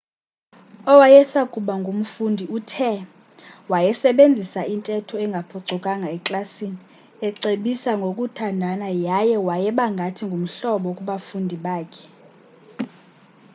owayesakuba ngumfundi uthe wayesebenzisa intetho engaphucukanga eklasini ecebisa ngokuthandana yaye wayeba ngathi ngumhlobo kubafundi bakhe